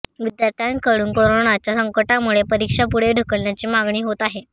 विद्यार्थ्यांकडून कोरोनाच्या संकटामुळे परीक्षा पुढे ढकलण्याची मागणी होत आहे